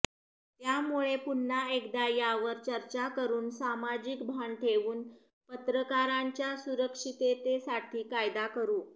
त्यामुळे पुन्हा एकदा यावर चर्चा करुन सामाजिक भान ठेवून पत्रकारांच्या सुरक्षिततेसाठी कायदा करु